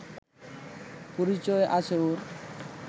পরিচয় আছে ওর